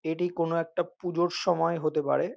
এটি কোনো একটা পুজোর সময় হতে পারে।